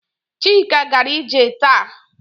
Chika gara ije taa.